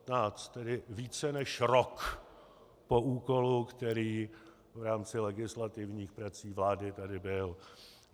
Tedy více než rok po úkolu, který v rámci legislativních prací vlády tady byl.